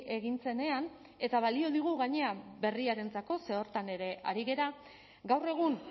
egin zenean eta balio digu gainera berriarentzako zer horretan ere ari gara gaur egun